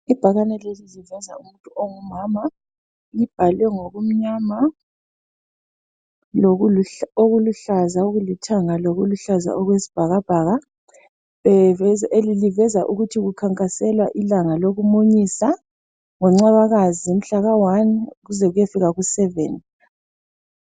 Ibhakane leli liveza umuntu ongumama libhalwe ngokumnyama okuluhlaza okulithanga lokuluhlaza okwesibhakabhaka liveza ukuthi likhankasela ilanga lokumunyisa ngoNcwabakazi mhlaka1 kuze kuyefika ku7.